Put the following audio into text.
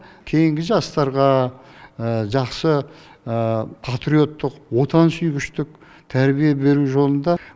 кейінгі жастарға жақсы патриоттық отансүйгіштік тәрбие беру жолында